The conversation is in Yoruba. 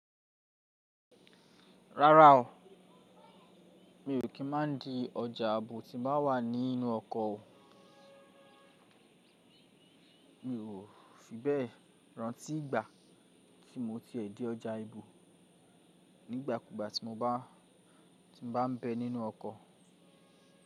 Rárá o, mi ò kí n máa di ọjà ààbò tí n bá wà nínú ọkọ̀ o. Mi ò fi bẹ́ẹ̀ rántí ìgbà tí mo ti è dí ọjà ibò nígbà kúgbà tí mo bá n bẹ nínú ọkọ̀.